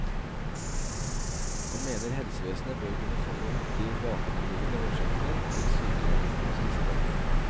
Han mener helsevesenet bør kunne fange opp de bakenforliggende årsakene til sykeligheten hos disse barna.